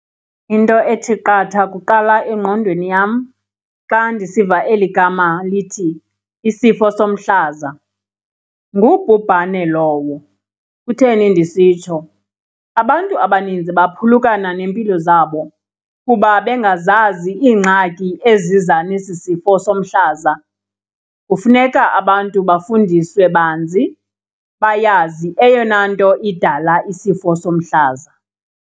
Into ethi qatha kuqala engqondweni yam xa ndisiva eli gama lithi isifo somhlaza, ngubhubhane lowo. Kutheni ndisitsho abantu abaninzi baphulukana nempilo zabo kuba bengazazi iingxaki eziza nesi sifo somhlaza. Kufuneka abantu bafundiswe banzi bayazi eyona nto idala isifo somhlaza.